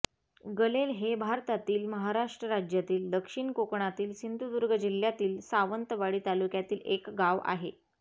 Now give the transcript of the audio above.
गलेल हे भारतातील महाराष्ट्र राज्यातील दक्षिण कोकणातील सिंधुदुर्ग जिल्ह्यातील सावंतवाडी तालुक्यातील एक गाव आहे